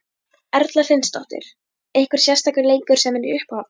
Erla Hlynsdóttir: Einhver sérstakur leikur sem er í uppáhaldi?